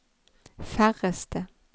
færreste